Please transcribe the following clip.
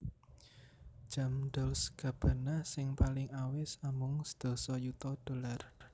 Jam Dolce Gabbana sing paling awis amung sedasa yuta dollar